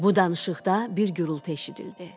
Bu danışıqda bir gurultu eşidildi.